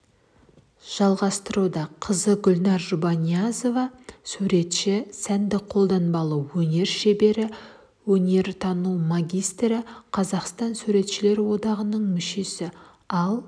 жалғастыруда қызы гүлнар жұбаниязова суретші сәндік-қолданбалы өнер шебері өнертану магистрі қазақстан суретшілер одағының мүшесі ал